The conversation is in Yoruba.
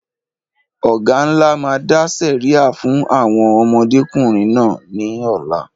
Ọ̀gá ńlá máa dá sẹ̀ríà fún àwọn ọmọdékùnrin náà ní ọ̀la